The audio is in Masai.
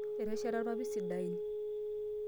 Etesheta ilpapit sidain.